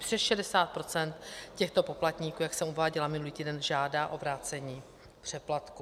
Přes 60 % těchto poplatníků, jak jsem uváděla minulý týden, žádá o vrácení přeplatku.